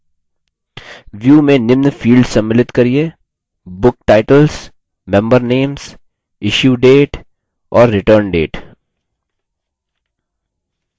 view में निम्न fields सम्मिलित करिये: book titles member names issue date और return date